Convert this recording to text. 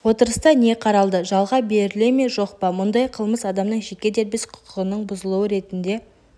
отырыста не қаралды жалға беріле ме жоқ па мұндай қылмыс адамның жеке дербес құқығының бұзылуы ретінде